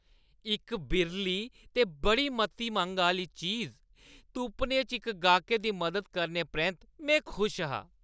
इक बिरली ते बड़ी मती मंग आह्‌ली चीज तुप्पने च इक गाह्कै दी मदद करने परैंत्त, में खुश हा।